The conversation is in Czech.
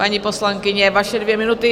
Paní poslankyně, vaše dvě minuty.